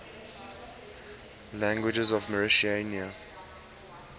languages of mauritania